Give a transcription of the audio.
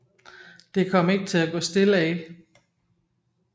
Det kom ikke til at gå stille af